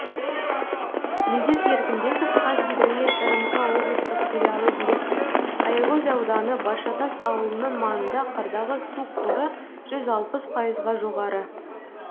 медет еркінбеков қазгидромет рмк облыстық филиалы директоры аягөз ауданы баршатас ауылының маңында қардағы су қоры жүз алпыс пайызға жоғары